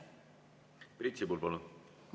Priit Sibul, palun!